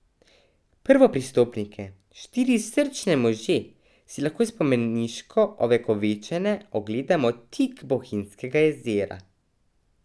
Prvopristopnike, štiri srčne može, si lahko spomeniško ovekovečene ogledamo tik Bohinjskega jezera.